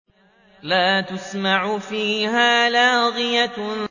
لَّا تَسْمَعُ فِيهَا لَاغِيَةً